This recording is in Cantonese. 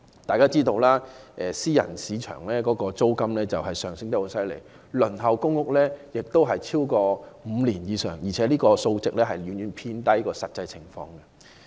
大家知道私人市場的租金升幅厲害，而公屋輪候時間已超過5年，這個數字遠遠低於實際情況。